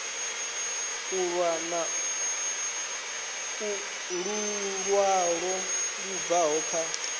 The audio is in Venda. lu ṅwalo lu bvaho kha